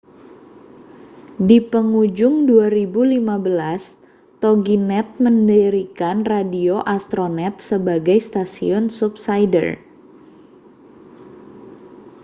di pengujung 2015 toginet mendirikan radio astronet sebagai stasiun subsider